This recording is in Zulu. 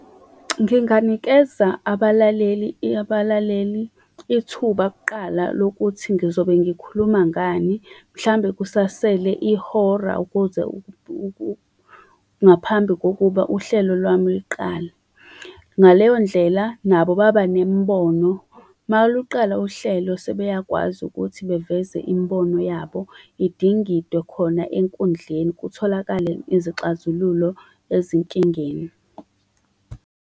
Nginganikeza abalaleli abalaleli ithuba kuqala lokuthi ngizobe ngikhuluma ngani mhlawumbe kusasele ihora ukuze ngaphambi kokuba uhlelo lami luqale. Ngaleyondlela nabo baba nemibono. Uma luqala uhlelo sebeyakwazi ukuthi baveze imibono yabo idingidwe khona enkundleni. Kutholakale izixazululo ezinkingeni.